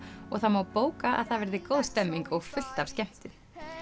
og það má bóka að það verði góð stemning og fullt af skemmtun